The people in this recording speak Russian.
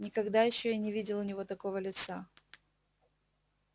никогда ещё я не видел у него такого лица